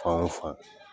Fan o fan